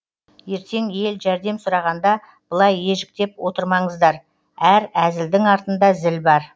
ертең ел жәрдем сұрағанда былай ежіктеп отырмаңыздар әр әзілдің артында зіл бар